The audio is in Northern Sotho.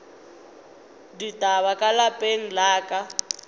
ditaba ka lapeng la ka